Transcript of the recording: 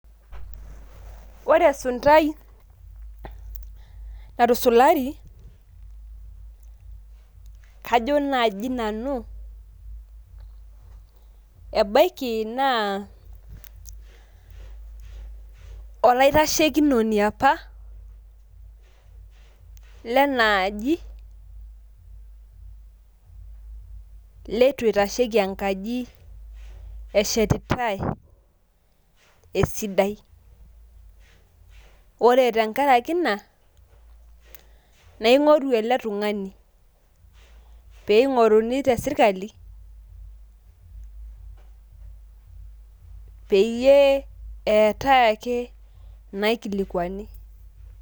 Ore esuntai natusulari, kajo naji nanu ebaiki naa olaitashekinoni apa, lenaaji, leitu eitasheki enkaji eshetitae esidai. Ore tenkaraki ina, na ing'oru ele tung'ani. Pe ing'oruni tesirkali, peyie eetae ake inaikilikwani.